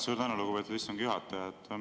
Suur tänu, lugupeetud istungi juhataja!